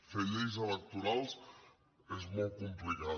fer lleis electorals és molt complicat